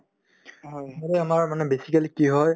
মানে আমাৰ মানে basically কি হয়